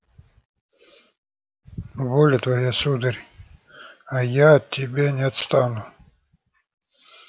воля твоя сударь а я от тебя не отстану